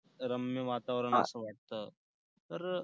रम्य वातावरण आहे असं वाटतं. तर अं